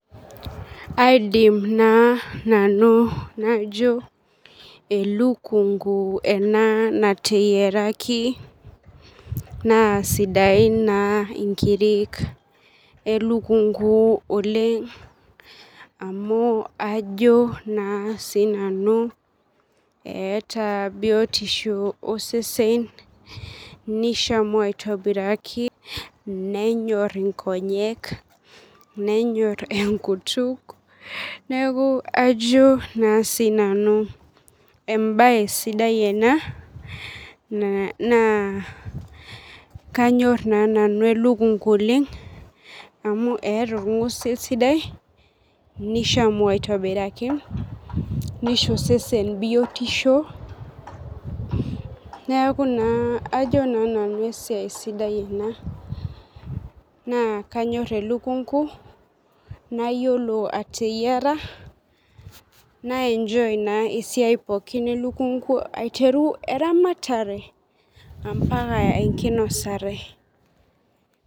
Aidim na nanu najo elukungu ena nateyiaraki na sidain na nkirik elukungu oleng amu ajo na sinanu eeta biotisho osesen nishamu aitobiraki nenyor nkonyek nenyor enkut neaku ajo na sinanu embae sidai ena kanyor nanu elukungu oleng amu eeta orngusil sidai nishamu aitobiraki nisho osesen biotisho neaku na ajo na nanu esiai sidai ena na kanyor elukungu nayiolo ateyiara nae enjoy esiai elukungu aiteru eramatare ambaka enkinosare